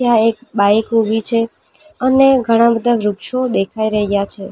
આ એક બાઈક ઉભી છે અને ઘણા બધા વૃક્ષો દેખાઈ રહ્યા છે.